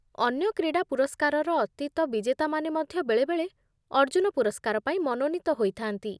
ଅନ୍ୟ କ୍ରୀଡ଼ା ପୁରସ୍କାରର ଅତୀତ ବିଜେତାମାନେ ମଧ୍ୟ ବେଳେବେଳେ ଅର୍ଜୁନ ପୁରସ୍କାର ପାଇଁ ମନୋନୀତ ହୋଇଥା'ନ୍ତି।